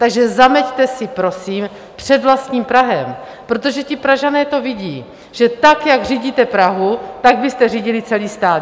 Takže zameťte si, prosím, před vlastním prahem, protože ti Pražané to vidí, že tak, jak řídíte Prahu, tak byste řídili celý stát.